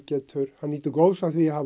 hann nýtur góðs af því að hafa